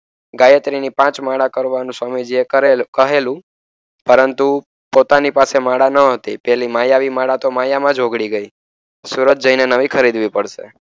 ગાયત્રીજીની પાંચ માળા કરવાની સ્વામીજીએ કહેલું. પરંતુ, પોતાની પાસે માળા ન હતી. પેલી માયાવી માળા તો માયામાં જ ઓગળી ગઈ. સુરત જઈને નવી ખરીદવી પડશે.